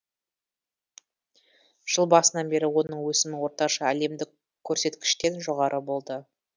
жыл басынан бері оның өсімі орташа әлемдік көрсеткіштен жоғары болды